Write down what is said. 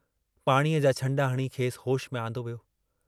पाणीअ जां छंडा हणी खेसि होश में आंदो वियो।